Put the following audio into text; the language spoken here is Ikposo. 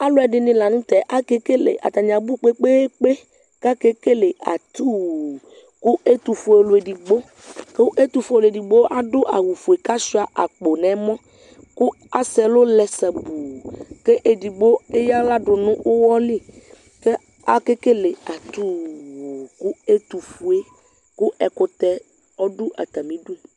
alu ɛdini lanu tɛ akekele atani abu kpekpeekpe kakekele ayiu ku ɛtufue ɔlu edigboku ɛtufue ɔlu edigbo adu awu foe ku asuia akpo nu ɛmɔ ku asɛ ɛlu lɛ sabuuku edigbo eya aɣla dunu uwɔli ku akekele atuuu ku ɛtuƒue ku ɛkutɛ ɔdu atamidu